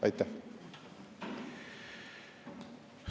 Aitäh!